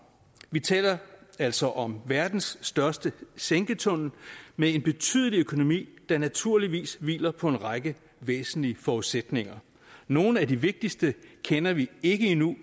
vi taler altså om verdens største sænketunnel med en betydelig økonomi der naturligvis hviler på en række væsentlige forudsætninger nogle af de vigtigste kender vi ikke endnu